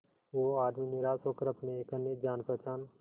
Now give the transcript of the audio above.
वो आदमी निराश होकर अपने एक अन्य जान पहचान